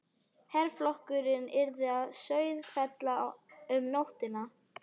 Herflokkurinn yrði að Sauðafelli um nóttina.